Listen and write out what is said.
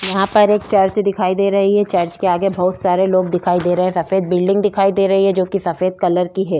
यहाँ पर एक चर्च दिखाई दे रही है चर्च के आगे बहुत सारे लोग दिखाई दे रहे हैं सफेद बिल्डिंग दिखाई दे रही है जो कि सफेद कलर की है।